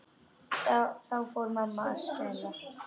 Þá fór mamma að skæla.